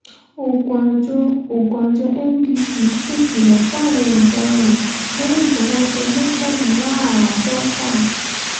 oògùn àjọ oògùn àjọ ndtea ṣèkìlọ̀ fáwọn ọ̀daràn lẹ́yìn tọwọ́ tẹ̀ mọ́kàndínláàádọ́fà